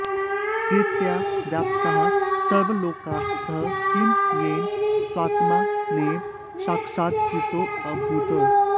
कीर्त्या व्याप्ताः सर्वलोकास्ततः किं येन स्वात्मा नैव साक्षात्कृतोऽभूत्